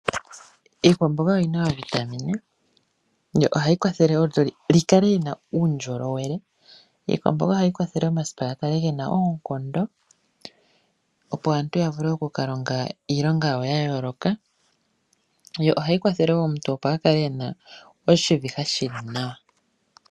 Iikwamboga oyina oovitamine yo ohayi kwathele olutu lukale luna uundjolowele. Iikwamboga ohayi kwathele omasipa gakale gena oonkondo opo aantu ya vule oku ka longa iilonga yawo yayooloka, yo ohayi kwathele woo opo omuntu a kale ena oshiviha shili nawa.